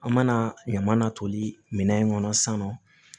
An mana ɲaman toli minɛn kɔnɔ sisan nɔ